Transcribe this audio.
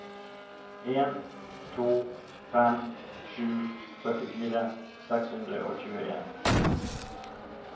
en to fem sju førtifire seks hundre og tjueen